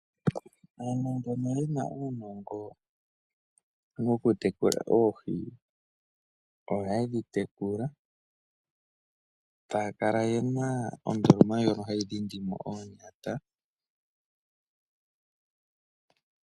Aantu mbono ye na uunongo wokutekula oohi, oha ye dhi tekula, ta ya kala ye na ondoloma ndjono hayi dhindi mo oonyata.